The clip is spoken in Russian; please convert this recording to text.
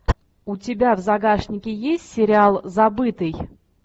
у тебя в загашнике есть сериал забытый